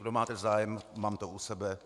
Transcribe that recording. Kdo máte zájem, mám to u sebe.